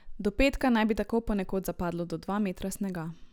Do petka naj bi tako ponekod zapadlo do dva metra snega.